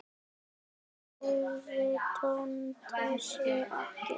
Enn hreyfði Tóti sig ekki.